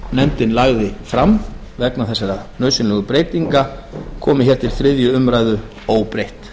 nefndin lagði fram vegna þessara nauðsynlegu breytinga komi hér til þriðju umræðu óbreytt